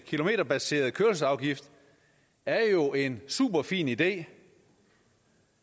kilometerbaseret kørselsafgift er jo en superfin idé